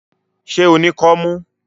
Ṣé o ní kọ́mú?